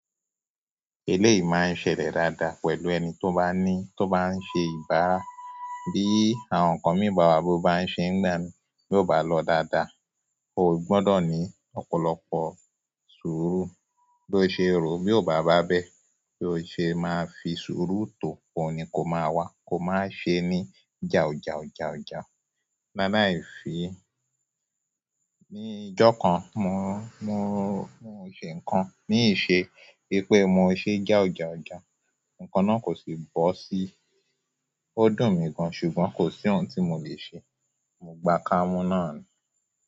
Eleyi máa ń ṣẹlẹ̀ dada pẹ̀lú ẹni tó bá ní, tó bá ń ṣe ibà. Bí àwọn ǹkan mi bawa bo bá ń ṣe n ìgbà mi, bí o bá lọ́ dada, o gbọdọ̀ ní ọ̀pọ̀lọpọ̀ sùúrù. Bí o ṣe rò, bí o bá ba be, bí o ṣe máa fi sùúrù to, òun ni kó máa wá. Kó má ṣe ni jawujawu mama e fi, ní ọjọ́ kan mo- mo mo ń ṣe ǹkan, ní iṣẹ́, wípé mo ṣe ja o ja o ja. Ǹkan náà kò sí bo si. Ó dùn mi gan ṣùgbọ́n kò sí oun tí mo lè ṣe. Mo gba kamu nani.